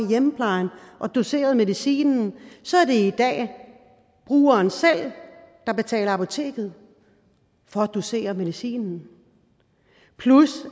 i hjemmeplejen og doserer medicinen så er det i dag brugeren selv der betaler apoteket for at dosere medicinen